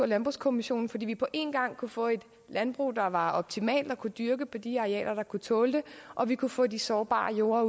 landbrugskommissionen fordi vi på en gang kunne få et landbrug der var optimalt og kunne dyrke de arealer der kunne tåle det og vi kunne få de sårbare jorder